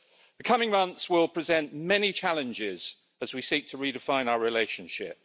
The coming months will present many challenges as we seek to redefine our relationship.